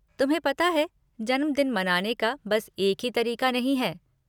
तुम्हें पता है जन्मदिन मनाने का बस एक ही तरीक़ा नहीं है।